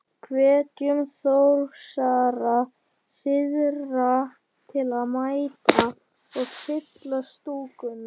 Hvetjum Þórsara syðra til að mæta og. fylla stúkuna?